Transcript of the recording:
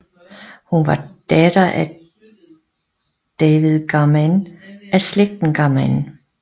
Hun var datter David Garmann af slægten Garmann